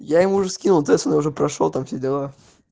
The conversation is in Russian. я ему уже скинул тэц он уже прошёл там все дела